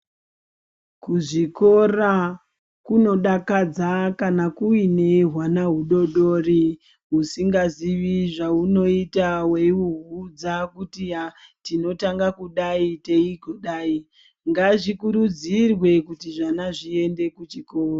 Kuzvikora kunodakadza kana kuine hwana hudodori husingazivi zvahunoita weihuudza kuti tinotanga kudai teigodayi, ngazvikurudzirwe kuti zvana zviende kuchikora.